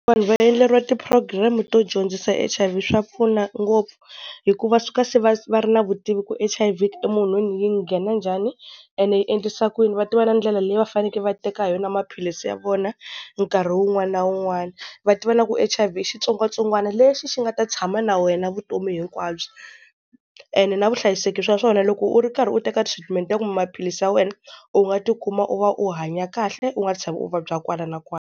Vanhu va endleriwa ti-program-i to dyondzisa H_I_V swa pfuna ngopfu, hi ku va suka se va va ri na vutivi ku H_I_V munhwini yi nghena njhani, ene yi endlisa ku yini. Va tiva na ndlela leyi va fanekele va teka hi yona maphilisi ya vona nkarhi wun'wana na wun'wana. Va tiva na ku H_I_V i xitsongwatsongwana lexi xi nga ta tshama na wena vutomi hinkwabyo. And na vuhlayiseki swa swona loko u ri karhi u teka treatment ya maphilisi ya wena u nga tikuma u va u hanya kahle u nga tshami u vabya kwala na kwala.